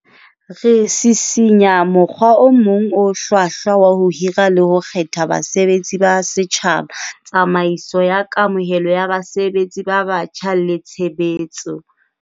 Re sisinya mokgwa o mong o hlwahlwa wa ho hira le ho kgetha basebetsi ba setjhaba, tsamaiso ya kamohelo ya basebetsi ba batjha le tshebetso.